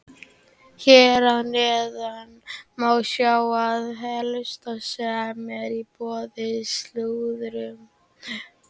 Hér að neðan má sjá það helsta sem er í boði í slúðrinu.